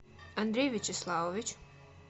андрей вячеславович